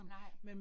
Nej